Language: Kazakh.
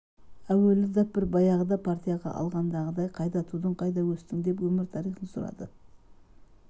әуелі дәп бір баяғыда партияға алғандағыдай қайда тудың қайда өстің деп өмір тарихын сұрады